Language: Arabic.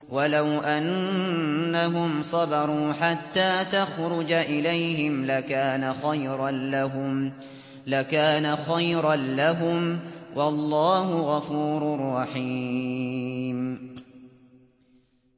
وَلَوْ أَنَّهُمْ صَبَرُوا حَتَّىٰ تَخْرُجَ إِلَيْهِمْ لَكَانَ خَيْرًا لَّهُمْ ۚ وَاللَّهُ غَفُورٌ رَّحِيمٌ